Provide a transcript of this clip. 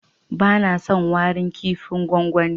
Bana son warin kipin gwangwani.